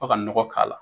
Fo ka nɔgɔ k'a la